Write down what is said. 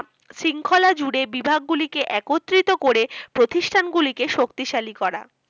শৃঙ্খলা জুড়ে বিভাগগুলিকে একত্রিত করে প্রতিষ্ঠানগুলিকে শক্তিশালী করা